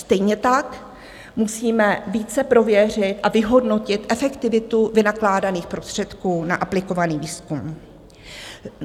Stejně tak musíme více prověřit a vyhodnotit efektivitu vynakládaných prostředků na aplikovaný výzkum.